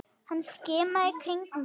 Hann skimaði í kringum sig.